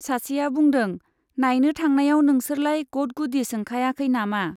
सासेया बुंदों, नाइनो थांनायाव नोंसोरलाय गद-गुदि सोंखायाखै नामा ?